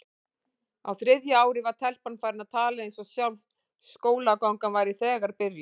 Á þriðja ári var telpan farin að tala eins og sjálf skólagangan væri þegar byrjuð.